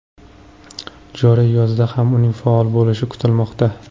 Joriy yozda ham uning faol bo‘lishi kutilmoqda.